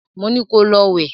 Mo ní ko lọ wẹ̀!